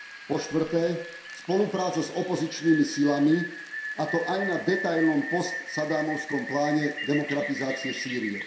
Po štvrté, spolupráca s opozičnými silami, a to aj na detailnom post saddámovskom pláne demokratizácie Sýrie.